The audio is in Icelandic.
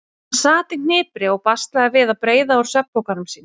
Hann sat í hnipri og baslaði við að breiða úr svefnpokanum sínum.